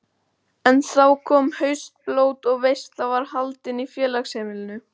En þá kom haustblót og veisla var haldin í félagsheimilinu.